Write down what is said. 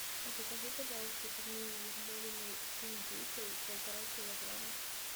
закажи пожалуйста пельмени ермолино с индейкой полтора килограмма